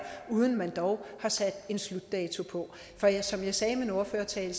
uden at man dog har sat en slutdato på for som jeg sagde i min ordførertale